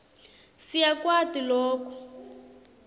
si yakwati loku